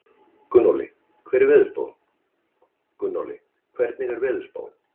Gunnóli, hvernig er veðurspáin?